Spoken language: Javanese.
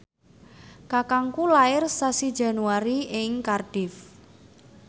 kakangku lair sasi Januari ing Cardiff